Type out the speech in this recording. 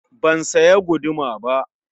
Ban siya guduma ba.